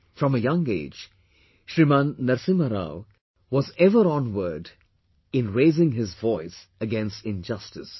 From a young age, Shriman Narasimha Rao was ever onward in raising his voice against injustice